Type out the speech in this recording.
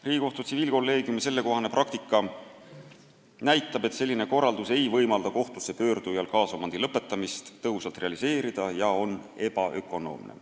Riigikohtu tsiviilkolleegiumi praktika näitab, et selline korraldus ei võimalda kohtusse pöördujal kaasomandi lõpetamist tõhusalt realiseerida ja on ebaökonoomne.